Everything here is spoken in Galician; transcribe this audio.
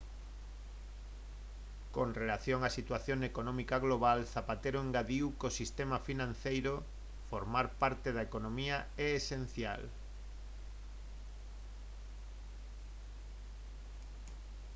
con relación á situación económica global zapatero engadiu que o sistema financeiro formar parte da economía e é esencial